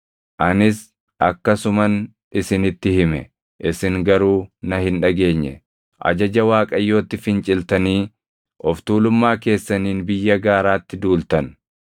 Anis akkasuman isinitti hime; isin garuu na hin dhageenye. Ajaja Waaqayyootti finciltanii of tuulummaa keessaniin biyya gaaraatti duultan.